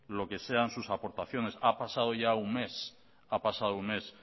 lo que sean sus aportaciones ha pasado ya un mes ha pasado un mes